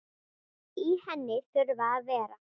Í henni þurfa að vera